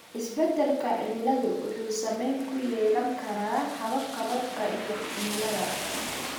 Isbedelka cimiladu wuxuu saameyn ku yeelan karaa hababka roobka iyo cimilada.